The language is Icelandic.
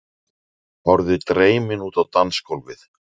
Horfði dreymin út á dansgólfið.